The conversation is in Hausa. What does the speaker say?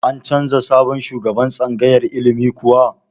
An canza sabon shugaban tsangayar ilimin kuwa?